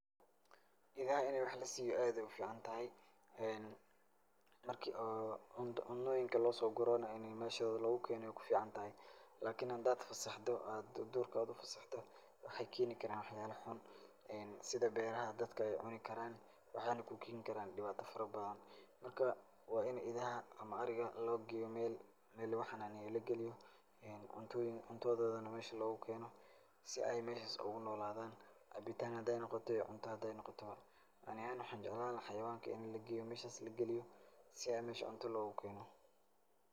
Idaha in wax lasiiyo aad ayaay u ficantahay. Marki oo cunooyinka loosoogurona inaay meeshooda lugu keeno ayaay kuficantahay. lakini hadaad fasaxdo aad duurka aad ufasaxdo, waxay keeni karaan waxyaalo xun sida beeraha dadka ay cuni karaan, waxayna kuu keeni karaan dhibaato farabadan. Marka, waa in idaha ama ariga lageeyo meel meel luga xanaaniyo lageliyo cuntooyin ,cuntadoodana meesha loogu keeno si ay meeshas uugu noolaadaan. Cabitaan haday noqoto iyo cunto hadaay noqotaba, ani ahaan waxaan jeclaan lahaa hayawaanka in lageeyo meeshas lageliyo si ay meesha cunta loogu keeno.